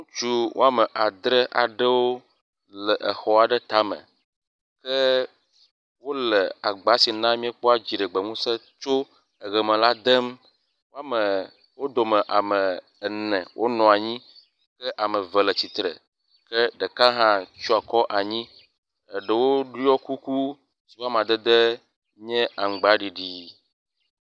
ŋutsu woame adre aɖewo wóle xɔ aɖe táme ke wóle agbá si na miekpɔ dziɖegbe ŋuse tso eɣe me la dem wó dome ame ene wo nɔanyi ke ame ve le tsitsre ke ɖeka hã tsiɔ akɔ anyi eɖewo ɖiɔ kuku yiƒe amadede nye aŋgba ɖiɖii